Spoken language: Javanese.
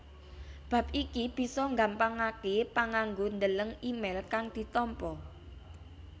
Bab iki bisa nggampangaké panganggo ndeleng email kang ditampa